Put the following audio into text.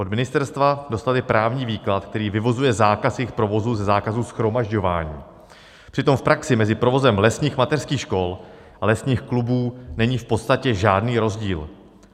Od ministerstva dostaly právní výklad, který vyvozuje zákaz jejich provozu ze zákazu shromažďování, přitom v praxi mezi provozem lesních mateřských škol a lesních klubů není v podstatě žádný rozdíl.